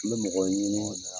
N bɛ mɔgɔ ɲini